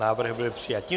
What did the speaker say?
Návrh byl přijat.